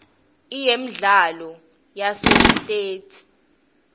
iyemidlalo yasesitesi